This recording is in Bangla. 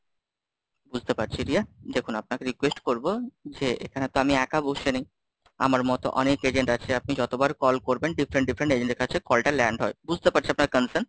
বুঝতে পারছি রিয়া, দেখুন আপনাকে request করবো যে এখানে তো আমি একা বসে নেই? আমার মতো অনেক agent আছে? আপনি যতবার কল করবেন, different different agents এর কাছে call টা land হয়, বুঝতে পারছি আপনার Consent,